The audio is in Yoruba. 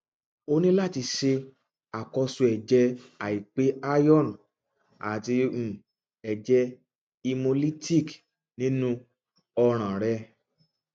o ni lati ṣe akoso ẹjẹ aipe iron ati um ẹjẹ hemolytic ninu ọran rẹ